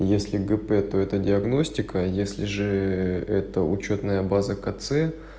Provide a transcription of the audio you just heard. если гп то это диагностика если же это учётная база кц